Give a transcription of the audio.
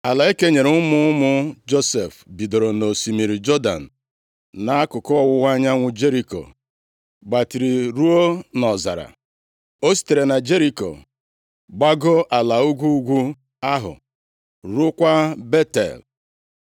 Ala e kenyere ụmụ ụmụ Josef bidoro nʼosimiri Jọdan nʼakụkụ ọwụwa anyanwụ Jeriko gbatịrị ruo nʼọzara. O sitere na Jeriko gbagoo ala ugwu ugwu ahụ, ruokwa Betel.